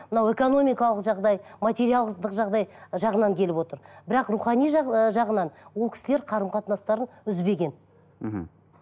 мынау экономикалық жағдай материалдық жағдай жағынан келіп отыр бірақ рухани жағынан ол кісілер қарым қатынастарын үзбеген мхм